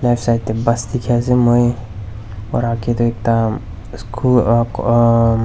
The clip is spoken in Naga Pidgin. right side teh bus dikhi ase moi aru aage teh ekta schoo aa um--